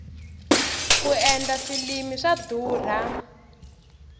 ku endla filimi swa durha